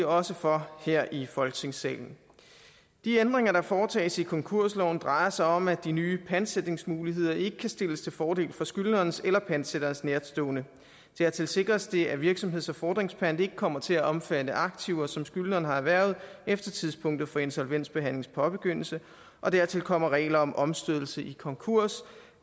også for her i folketingssalen de ændringer der foretages i konkursloven drejer sig om at de nye pantsætningsmuligheder ikke kan stilles til fordel for skyldnerens eller pantsætterens nærtstående dertil sikres det at virksomheds og fordringspant ikke kommer til at omfatte aktiver som skyldneren har erhvervet efter tidspunktet for en insolvensbehandlings påbegyndelse og dertil kommer regler om omstødelse i konkurs